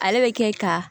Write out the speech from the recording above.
Ale bɛ kɛ ka